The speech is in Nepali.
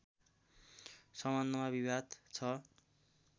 सम्बन्धमा विवाद छ